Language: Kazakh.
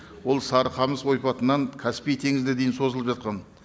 ол сарықамыс ойпатынан каспий теңізіне дейін созылып жатқан